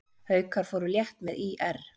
Haukar fóru létt með ÍR